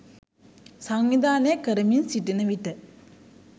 සංවිධානය කරමින් සිටින විට